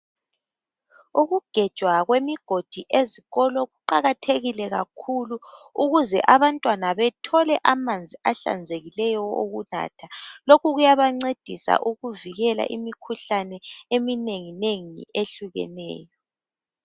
Ukugenjwa kwemigodi ezikolo kuqakathekile kakhulu ukuze abantwana bethole amanzi ahlazekileyo okunatha lokhu kuyabancedisa ukuvikela imikhuhlane eminenginengi ehlukeneyo.